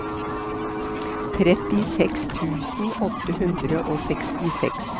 trettiseks tusen åtte hundre og åttiseks